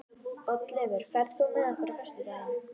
Oddleifur, ferð þú með okkur á föstudaginn?